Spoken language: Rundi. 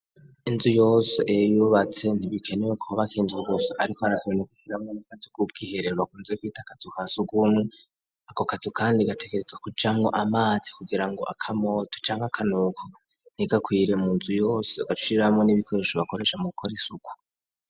Inzu yose iyo uyubatse ntibikenewe kubaka inzu gusa ariko harakenewe kushiramwo n'akazu ku bwiherero bakunze kwita akazu ka sugumwe, ako kazu kandi gategerezwa kujamwo amazi kugira ngo akamoto canke akanuko ntigakwire mu nzu yose, ugaca ushiramwo n'ibikoresho bakoresha mu gukora isuku.